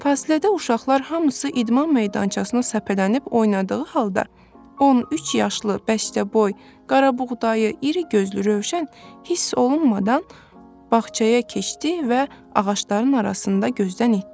Fasilədə uşaqlar hamısı idman meydançasına səpələnib oynadığı halda, 13 yaşlı, beşdəboy, qarabuğdayı, iri gözlü Rövşən hiss olunmadan bağçaya keçdi və ağacların arasında gözdən itdi.